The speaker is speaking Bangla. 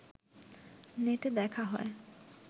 নেটে দেখা হয়